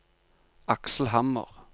Aksel Hammer